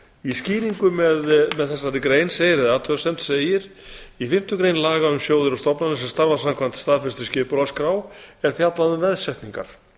í skýringu eða athugasemd með þessari grein segir í fimmtu grein laga um sjóði og stofnanir sem starfa samkvæmt staðfestri skipulagsskrá er fjallað um veðsetningar